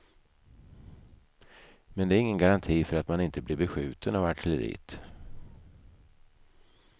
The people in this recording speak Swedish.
Men det är ingen garanti för att man inte blir beskjuten av artilleriet.